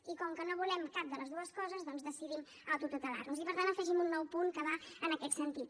i com que no volem cap de les dues coses doncs decidim autotutelar nos i per tant afegim un nou punt que va en aquest sentit